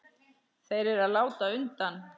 Þeir eru að láta undan.